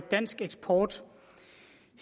dansk eksport